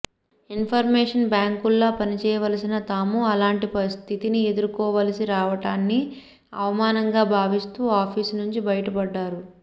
in formation బ్యాంకుల్లా పనిచేయవలసిన తాము అలాంటి స్థితిని ఎదుర్కోవలసి రావటాన్ని అవమానంగా భావిస్తూ ఆఫీసునుంచి బయటపడ్డారు